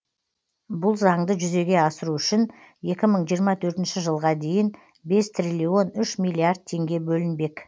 бұл заңды жүзеге асыру үшін екі мың жиырма төртінші жылға дейін бес триллион үш миллиард теңге бөлінбек